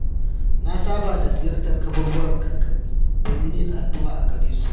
Na saba da ziyartar kaburburan kakanni domin yin addu’a a gare su.